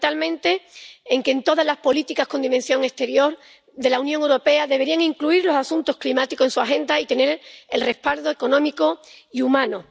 Fundamentalmente en que todas las políticas con dimensión exterior de la Unión Europea deberían incluir los asuntos climáticos en su agenda y tener respaldo económico y humano.